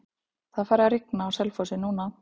Það er farið að rigna á Selfossi núna.